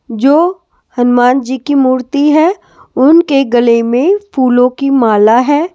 जो हनुमान जी की मूर्ति है उनके गले में फूलों की माला है ।